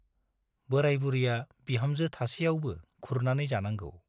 बोराय बुरैया बिहामजो थासेयावबो खुरनानै जानांगौ ।